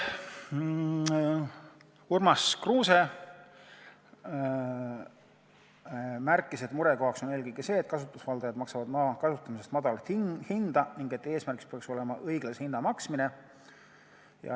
Urmas Kruuse märkis, et murekoht on eelkõige see, et kasutusvaldajad maksavad maa kasutamise eest madalat hinda, ning eesmärgiks peaks olema õiglase hinna maksmine.